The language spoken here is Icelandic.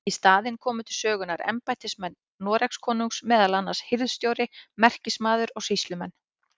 Í staðinn komu til sögunnar embættismenn Noregskonungs, meðal annars hirðstjóri, merkismaður og sýslumenn.